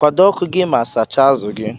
Kwado ọku gi ma sacha azu gi.